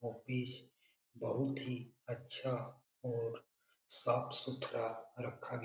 office बहुत ही अच्छा और साफ सुथरा रखा ग --